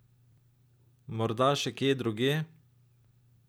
Morda še kje drugje?